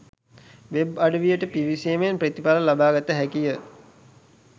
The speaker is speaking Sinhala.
වෙබ් අඩවියට පිවිසීමෙන් ප්‍රතිඵල ලබාගත හැකිය